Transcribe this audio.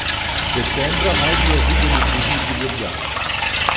Decembra naj bi jo videli tudi v Ljubljani.